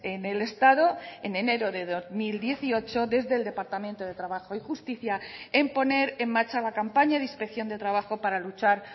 en el estado en enero de dos mil dieciocho desde el departamento de trabajo y justicia en poner en marcha la campaña de inspección de trabajo para luchar